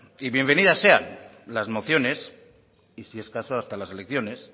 y bienvenidas sean las mociones y si es caso hasta las elecciones